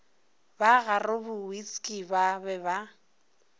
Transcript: ba garobowitsky ba be ba